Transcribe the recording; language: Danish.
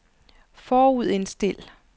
forudindstil